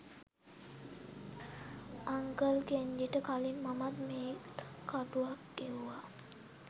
uncle කෙන්ජිට කලින් මමත් මේල් කටුවක් එවුවා